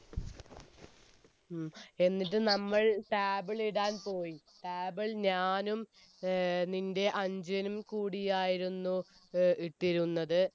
ഉം എന്നിട്ട് നമ്മൾ table ഇടാൻ പോയി table ഞാനും ഏർ നിൻെറ അനുജനും കൂടിയായിരുന്നു ഇട്ടിരുന്നത്